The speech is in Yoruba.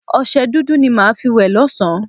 Ọṣẹ dúdú ni màá fi wẹ̀ lọ́sá̀n-an